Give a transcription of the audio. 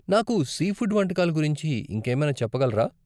నాకు సీఫుడ్ వంటకాల గురించి ఇంకేమైనా చెప్పగలరా?